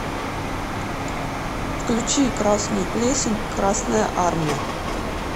включи красную плесень красная армия